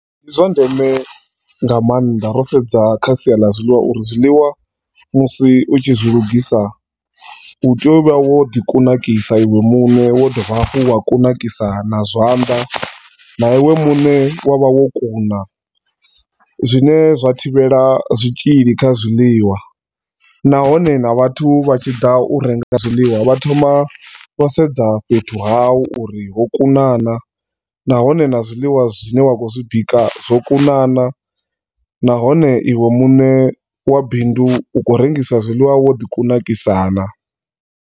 Ndi zwa ndeme nga maanḓa ro sedza kha sia ḽa zwiḽiwa uri zwiḽiwa musi utshi zwilugisa utea uvha woḓi kunakisa iwe muṋe, wa dovha hafhu wa kunakisa na zwanḓa, na iwe muṋe wavha wo kuna zwine zwa thivhela zwitshili kha zwiḽiwa nahone na vhathu vhatshiḓa u renga zwiḽiwa vhathoma vhasedza fhethu hau uri hokunana na hone na zwiḽiwa zwine wakho zwibika zwo kunana, nahone iwe muṋe wa bindu u kho rengisa zwiḽiwa wo ḓi kunakisa na.